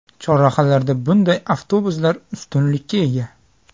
Chorrahalarda bunday avtobuslar ustunlikka ega.